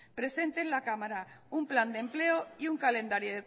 presente en la cámara un plan de empleo y un calendario